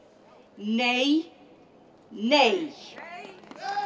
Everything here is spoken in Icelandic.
nei nei